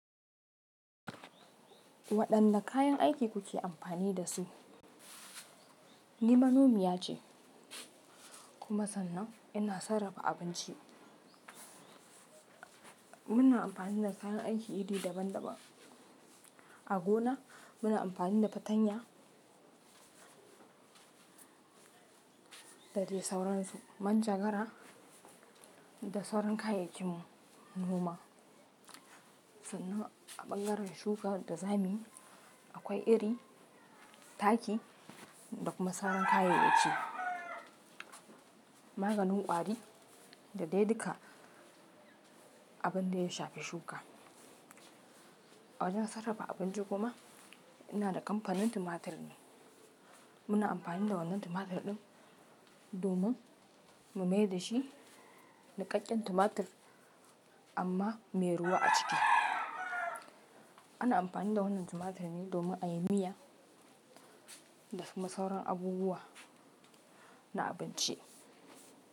Waɗanne kayan aiki kuke amfani da su? Ni manomiya ce kuma sannan ina sarrafa abinci. Muna amfani da kayan aiki iri daban-daban. A gona muna amfani da fatanya, da dai sauransu. Manjagara da sauran kayay yakin noma. Sannan a ɓangaren shuka da zamuyi akwai iri, taki da kuma sararin kayan ɗaki, maganin ƙwari da dai duka abun da ya shafi shuka. A wajen sarrafa abinci kuma ina da kamfanin tumatur ne. Muna amfani da wannan tumatur ɗin domin mu maye dashi niƙaƙƙen tumatur amma mai ruwa a ciki. Ana amfani da wannan tumatur ne domin a yi miya da kuma sauran abubuwa na abinci.